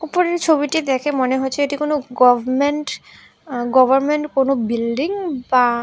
উপরের ছবিটি দেখে মনে হচ্ছে এটি কোনো গভমেন্ট আ গভরমেন্ট কোনো বিল্ডিং বা--